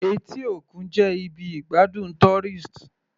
Etí òkun jẹ́ ibi ìgbádùn tourist.